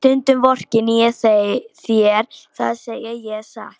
Stundum vorkenni ég þér, það segi ég satt.